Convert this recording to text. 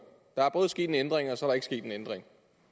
der er både sket en ændring og så er der ikke sket en ændring